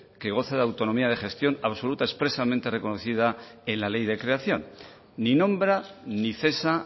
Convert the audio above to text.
que goza de autonomía de gestión absoluta expresamente reconocida en la ley de creación ni nombra ni cesa